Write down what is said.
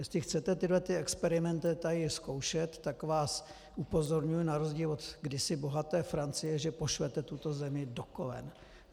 Jestli chcete tyhle experimenty tady zkoušet, tak vás upozorňuji na rozdíl od kdysi bohaté Francie, že pošlete tuto zemi do kolen!